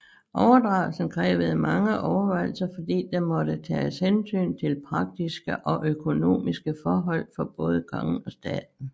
Overdragelsen krævede mange overvejelser fordi der måtte tages hensyn til praktiske og økonomiske forhold for både kongen og staten